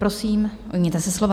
Prosím, ujměte se slova.